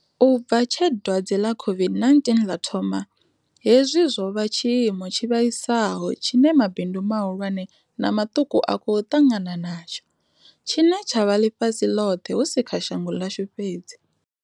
U bva tshe dwadze ḽa COVID-19 ḽa thoma, hezwi zwo vha tshi imo tshi vhaisaho tshine mabindu mahulwane na maṱuku a khou ṱangana natsho, tshine tsha vha ḽifhasi ḽoṱhe hu si kha shango ḽashu fhedzi.